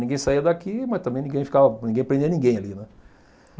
Ninguém saía daqui, mas também ninguém ficava ninguém prendia ninguém ali, né.